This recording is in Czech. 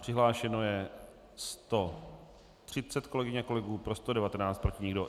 Přihlášeno je 130 kolegyň a kolegů, pro 119, proti nikdo.